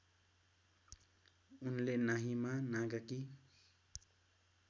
उनले नाहिमा नागाकी